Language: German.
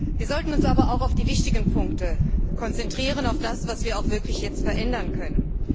Wir sollten uns aber auch auf die wichtigen Punkte konzentrieren, auf das, was wir auch wirklich jetzt verändern können.